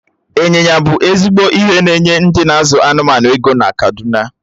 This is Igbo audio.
Ị́nyinya ibu ezigbo ihe na-enye ndị n'azụ anụmanụ ego na kaduna